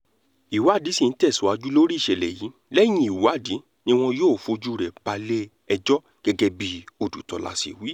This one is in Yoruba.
ìwádìí sì ń tẹ̀síwájú lórí ìṣẹ̀lẹ̀ yìí lẹ́yìn ìwádìí ni wọn yóò fojú rẹ̀ balẹ̀-ẹjọ́ gẹ́gẹ́ bí ọdùtòlà ṣe wí